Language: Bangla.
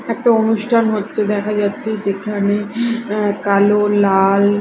একটা অনুষ্ঠান হচ্ছে দেখা যাচ্ছে যেখানে অ্যা কালো লাল--